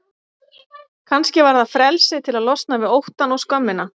Kannski var það frelsið til að losna við óttann og skömmina.